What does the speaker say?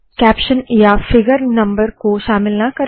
caption या figure number को शामिल ना करे